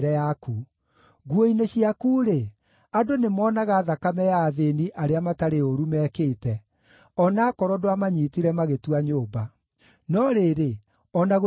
Nguo-inĩ ciaku-rĩ, andũ nĩmoonaga thakame ya athĩĩni arĩa matarĩ ũũru mekĩte, o na aakorwo ndwamanyiitire magĩtua nyũmba. No rĩrĩ, o na gũtariĩ ũguo